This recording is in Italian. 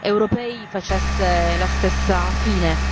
europei, facesse la stessa fine.